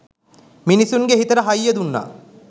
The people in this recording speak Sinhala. මිනිස්සුන්ගෙ හිතට හයිය දුන්නා.